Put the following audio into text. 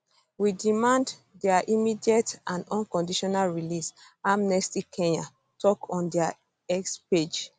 we demand dia immediate and um unconditional release amnestykenya tok on dia x page